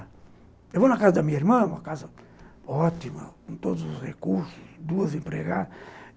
Eu vou na casa da minha irmã, uma casa ótima, com todos os recursos, duas empregadas.